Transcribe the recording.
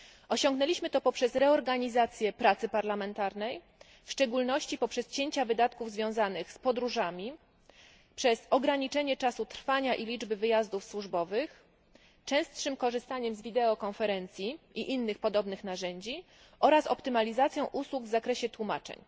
Osiągnęliśmy to poprzez reorganizację pracy parlamentarnej, w szczególności poprzez cięcia wydatków związanych z podróżami, przez ograniczenie czasu trwania i liczby wyjazdów służbowych, częstsze korzystanie z wideokonferencji i innych podobnych narzędzi oraz optymalizację usług w zakresie tłumaczeń.